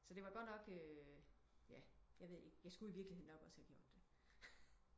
Så det var godt nok øh ja jeg ved ikke jeg skulle i virkelighed nok også have gjort det